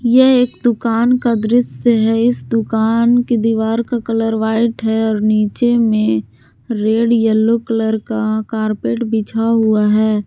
यह एक दुकान का दृश्य है इस दुकान की दीवार का कलर व्हाइट है और नीचे में रेड यलो कलर का कारपेट बिछा हुआ है।